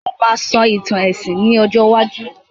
Mo máà sọ ìtàn èsìn ní ọjọ́ iwájú